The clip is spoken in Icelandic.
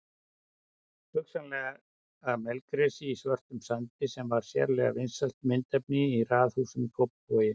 Hugsanlega melgresi í svörtum sandi sem var sérlega vinsælt myndefni í raðhúsum í Kópavogi.